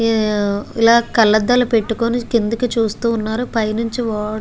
లా కళ్లద్దాలు పెటుకొని కిందికి చూస్తూ వున్నారు పైనుంచి వా --